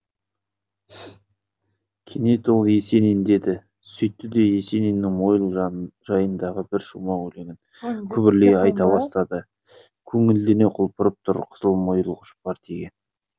кенет ол есенин деді сөйтті де есениннің мойыл жайындағы бір шумақ өлеңін күбірлей айта бастады көңілдене құлпырып тұр қызыл мойыл жұпар төккен